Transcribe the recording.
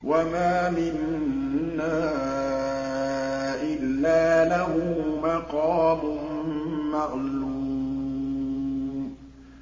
وَمَا مِنَّا إِلَّا لَهُ مَقَامٌ مَّعْلُومٌ